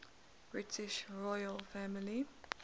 british royal family